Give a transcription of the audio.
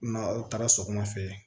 N'a aw taara sɔgɔmada fɛ